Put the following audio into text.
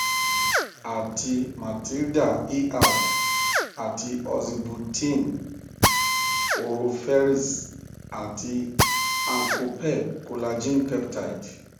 àti matilda er àti oxybutynin oroferxt àti ankopep collagen peptide